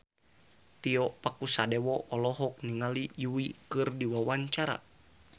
Tio Pakusadewo olohok ningali Yui keur diwawancara